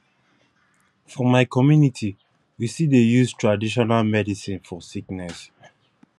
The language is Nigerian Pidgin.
for my community we still dey use traditional medicine for sickness